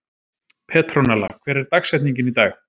Petronella, hver er dagsetningin í dag?